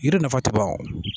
Yiri nafa ka ban o